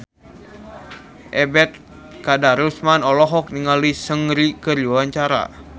Ebet Kadarusman olohok ningali Seungri keur diwawancara